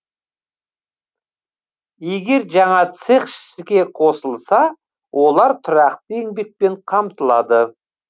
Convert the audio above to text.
егер жаңа цех іске қосылса олар тұрақты еңбекпен қамтылады